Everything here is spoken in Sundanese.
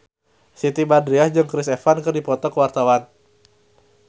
Siti Badriah jeung Chris Evans keur dipoto ku wartawan